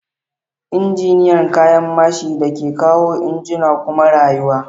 Injiniyan kayan mashin da ke kawo injuna koma rayuwa.